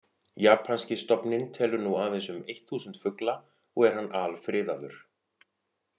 Japanski stofninn telur nú aðeins um eitt þúsund fugla og er hann alfriðaður.